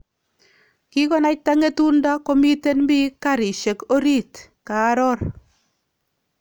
"Kikonaita ngetunda komiten biik kariisiek oriit"kaaroor